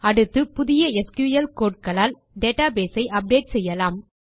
அடுத்து புதிய SQL code களால் டேட்டாபேஸ் ஐ அப்டேட் செய்யலாம்